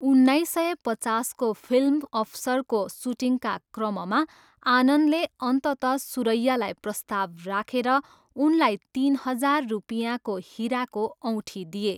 उन्नाइस सय पचासको फिल्म अफसरको सुटिङका क्रममा आनन्दले अन्तत सुरैयालाई प्रस्ताव राखेर उनलाई तिन हजार रुपियाँको हिराको औँठी दिए।